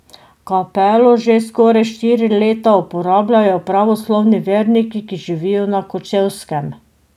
Kapelo že skoraj štiri leta uporabljajo pravoslavni verniki, ki živijo na Kočevskem.